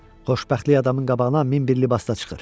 Xoşbəxtlik adamın qabağına min bir libasda çıxır.